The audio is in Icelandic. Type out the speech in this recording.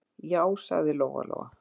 Já, sagði Lóa-Lóa.